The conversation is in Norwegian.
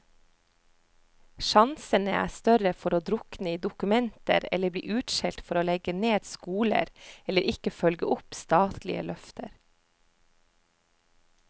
Sjansene er større for å drukne i dokumenter eller bli utskjelt for å legge ned skoler, eller ikke følge opp statlige løfter.